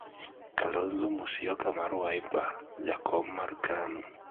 Kalonzo Musyoka mar Wiper, jakom mar Kanu